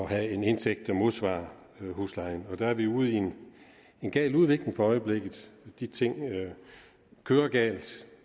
have en indtægt der modsvarer huslejen og der er vi ude i en gal udvikling for øjeblikket de ting kører galt